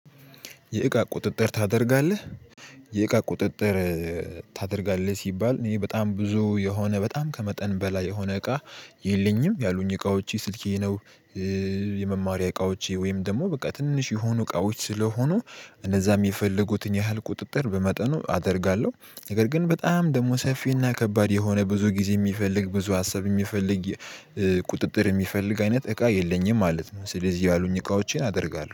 የእቃ ቁጥጥር ታደርጋለህ የእቃ ቁጥጥር ታደርጋለህ? ሲባል እኔ በጣም ብዙ የሆነ በጣም ከመጠን በላይ የሆነ እቃ የለኝም ያሉኝ እቃዎቼ ስልኬ ነው። የመማሪያ እቃዎቼ ወይም ደግሞ በቃ ትንሽ የሆኑ እቃዎች ስለሆኑ እነዛም የፈለጉትን ያህል ቁጥጥር በመጠኑ አደርጋለሁ። ነገር ግን በጣም ደግሞ ሰፊና ከባድ የሆነ ብዙ ጊዜ የሚፈልግ ብዙ ሀሳብ የሚፈልግ ቁጥጥር የሚፈልግ አይነት እቃ የለኝም ማለት ነው። ስለዚህ ያሉኝ እቃዎቼን አደርጋለሁ